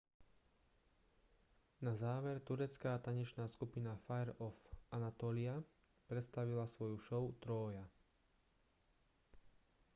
na záver turecká tanečná skupina fire of anatolia predstavila svoju show trója